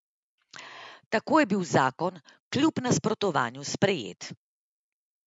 Tako je bil zakon kljub nasprotovanju sprejet.